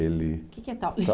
Ele... O que que é taule?